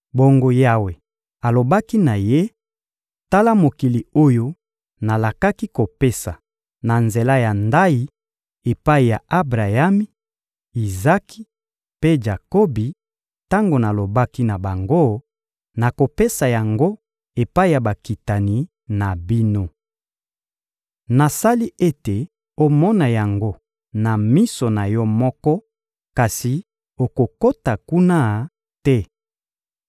Bongo Yawe alobaki na ye: «Tala mokili oyo nalakaki kopesa, na nzela ya ndayi, epai ya Abrayami, Izaki mpe Jakobi, tango nalobaki na bango: ‹Nakopesa yango epai ya bakitani na bino.› Nasali ete omona yango na miso na yo moko, kasi okokota kuna te.»